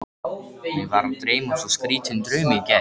Mig var að dreyma svo skrýtinn draum í gær.